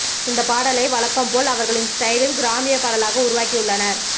இந்த பாடலை வழக்கம் போல அவர்களின் ஸ்டைலில் கிராமிய பாடலாக உருவாக்கி உள்ளனர்